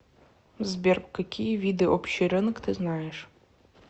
сбер какие виды общий рынок ты знаешь